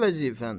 Nə vəzifən?